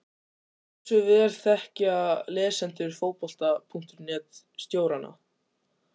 En hversu vel þekkja lesendur Fótbolta.net stjórana?